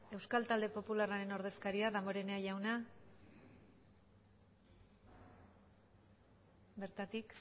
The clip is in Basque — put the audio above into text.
euskal talde popularraren ordezkaria damborenea jauna bertatik